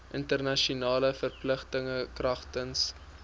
internasionale verpligtinge kragtens